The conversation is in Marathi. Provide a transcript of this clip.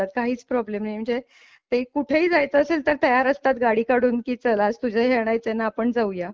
काहीच प्रॉब्लेम म्हणजे ते कुठे ही जायचे असेल तर तयार असतात गाडी काढून की चल आज तुझे हे आणायच आहे ना आपण जाऊया.